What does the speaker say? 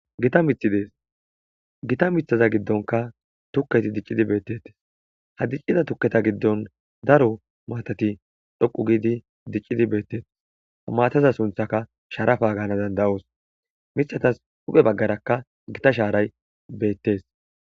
Gita mithi dees gita mithaza giddonka tukketi diccidi beettetes ha diccida tukketa giddon daro maatati dhoqu giidi diccidi beettetes ha mataza sunthaka sharafa gaana danda'os mithatas huphe baggarakka gita shaaray beettes.